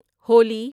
Holi